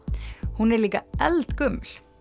hún er líka eldgömul